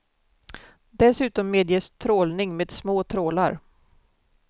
Dessutom medges trålning med små trålar.